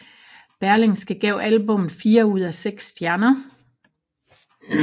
Berlingske gav albummet fire ud af seks stjerner